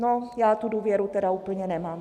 No, já tu důvěru tedy úplně nemám.